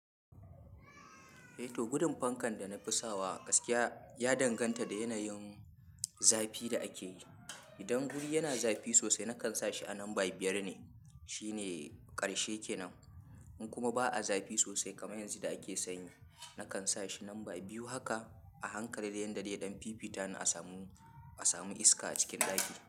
Eh to gudun fankan da na fi sawa gaskiya ya danganta da yanayin zafi da ake yi. Idan guri yana zafi sosai nakan sa shi a lambar biyar ne, shine ƙarshe kenan. In kuma ba a zafi sosai kamar yanzu da ake sanyi, nakan sa shi lamba biyu. Haka a hankali yan daɗe ɗan fifita ni a samu, a samu iska a cikin ɗaki.